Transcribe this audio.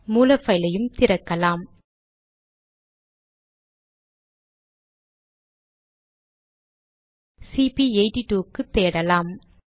மூல பைலையும் திறக்கலாம் - சிபி82 க்கு தேடலாம்